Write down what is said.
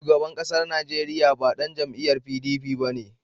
Shugaban ƙasar Najeriya ba ɗan jam'iyar PDP ba ne.